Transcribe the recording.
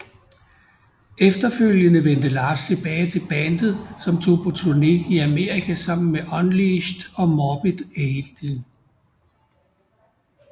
Efterfølgende vendte Lars tilbage til bandet som tog på turné i Amerika sammen med Unleashed og Morbid Angel